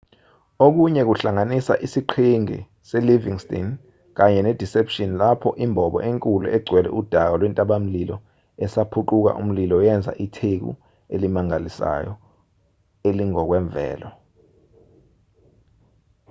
okunye kuhlanganisa isiqhingi selivingston kanye nedeception lapho imbobo enkulu egcwele udaka lwentabamlilo esaphuquka umlilo yenza itheku elimangalisayo elingokwemvelo